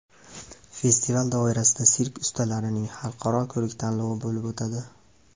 Festival doirasida sirk ustalarining Xalqaro ko‘rik-tanlovi bo‘lib o‘tadi.